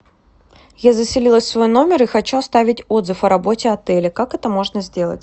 я заселилась в свой номер и хочу оставить отзыв о работе отеля как это можно сделать